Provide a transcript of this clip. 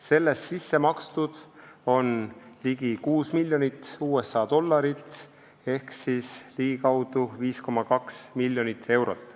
Sellest on sisse makstud ligi 6 miljonit USA dollarit ehk ligikaudu 5,2 miljonit eurot.